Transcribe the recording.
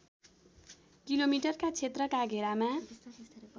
किलोमिटरका क्षेत्रका घेरामा